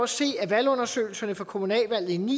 se af valgundersøgelserne fra kommunalvalgene